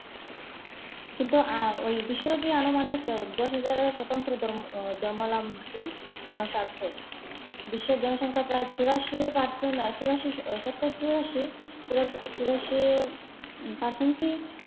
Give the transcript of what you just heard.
কিন্তু আহ ওই আনুমানিক দশহাজার সতন্ত্র ধর্ম ধর্মাবলম্বী মানুষ আসে। বিশ্বের জনসংখ্যা প্রায় চুরাশি Percent চুরাশি শতকরা চুরাশি, চুরাশি Percent ই